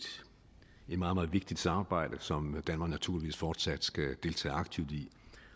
meget meget vigtigt samarbejde som danmark naturligvis fortsat skal deltage aktivt i